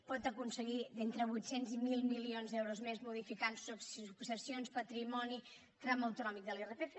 pot aconseguir entre vuit cents i mil milions d’euros més modificant successions patrimoni tram autonòmic de l’irpf